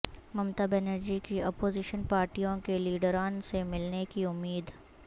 ممتا بنرجی کی اپوزیشن پارٹیوں کے لیڈران سے ملنے کی امید